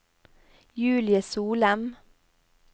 Julie Solem